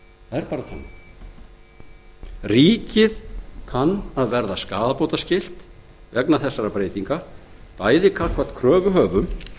málaferla ríkið kann auk þess að verða skaðabótaskylt vegna þessara breytinga bæði gagnvart kröfuhöfum